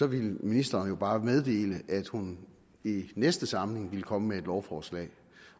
ville ministeren jo bare meddele at hun i næste samling ville komme med et lovforslag